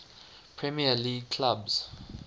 premier league clubs